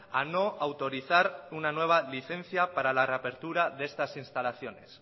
a no autorizar una nueva licencia para la reapertura de estas instalaciones